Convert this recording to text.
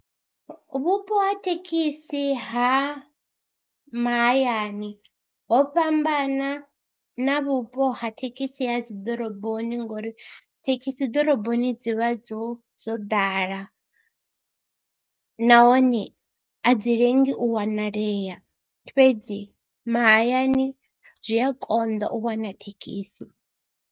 Vhupo ha thekhisi ha mahayani ho fhambana na vhupo ha thekhisi ha dzi ḓoroboni ngori thekhisi ḓoroboni dzi vha dzo dzo ḓala nahone a dzi lengi u wanalea fhedzi mahayani zwi a konḓa u wana thekhisi.